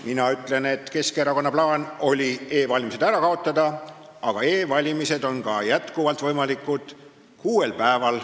Mina ütlen, et Keskerakonna plaan oli e-valimine ära kaotada, aga e-valimine on kuuel päeval jätkuvalt võimalik.